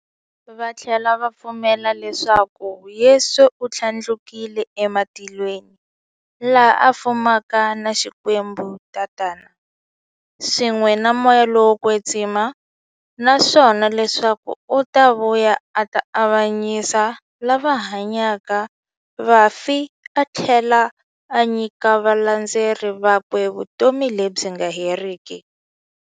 Vathlela va pfumela leswaku Yesu u thlandlukele ematilweni, laha a fumaka na Xikwembu-Tatana, swin'we na Moya lowo kwetsima, naswona leswaku u ta vuya a ta avanyisa lava hanyaka na vafi athlela a nyika valandzeri vakwe vutomi lebyi nga heriki.